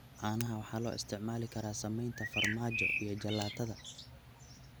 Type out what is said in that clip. Caanaha waxaa loo isticmaali karaa samaynta farmaajo iyo jalaatada.